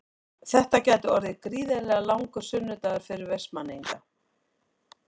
Þetta gæti orðið gríðarlega langur sunnudagur fyrir Vestmannaeyinga.